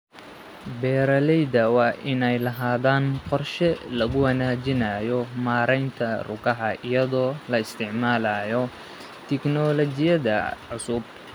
Beeralayda waa inay lahaadaan qorshe lagu wanaajinayo maaraynta rugaha iyadoo la isticmaalayo tignoolajiyada cusub.